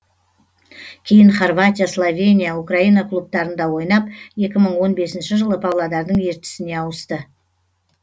кейін хорватия словения украина клубтарында ойнап екі мың он бесінші жылы павлодардың ертісіне ауысты